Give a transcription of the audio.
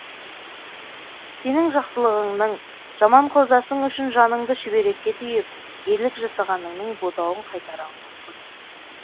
сенің жақсылығыңның жаман құрдасың үшін жаныңды шүберекке түйіп ерлік жасағаныңның бодауын қайтара алмаспын